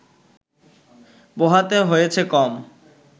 পোহাতে হয়েছে কম